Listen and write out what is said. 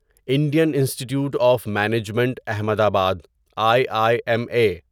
Indian institute of management Ahmedabad I I M a